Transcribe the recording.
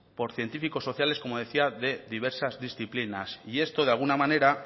por científicos sociales como decía de diversas disciplinas y esto de alguna manera